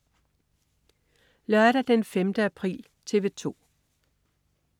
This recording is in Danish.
Lørdag den 5. april - TV 2: